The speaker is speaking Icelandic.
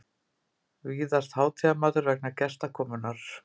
vísast hátíðarmatur vegna gestakomunnar.